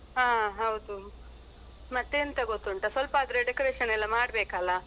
ಹಾ ಹೌದು ಮತ್ತೆಂತ ಗೊತ್ತುಂಟ ಸ್ವಲ್ಪ ಆದ್ರೆ decoration ಎಲ್ಲ ಮಾಡ್ಬೇಕಲ್ಲ.